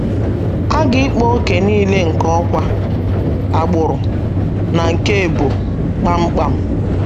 A ga -ịkpa ókè nile nke ọkwá, agbụrụ, na nke ebo, kpam kpam.